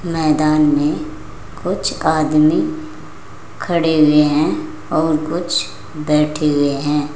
मैदान में कुछ आदमी खड़े हुए हैं और कुछ बैठे हुए हैं।